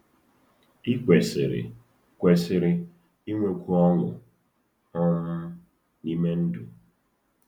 Ị kwesịrị kwesịrị inwekwu ọṅụ um n’ime ndụ.